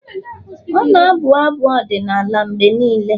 ọ na-abụ abụ ọdịnala mgbe niile